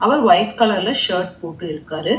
அவர் white கலர்ல shirt போட்டு இருக்காரு.